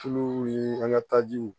Tuluw ni an ka tajiw